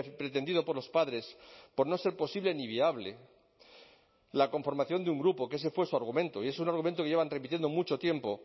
pretendido por los padres por no ser posible ni viable la conformación de un grupo que ese fue su argumento y es un argumento que llevan repitiendo mucho tiempo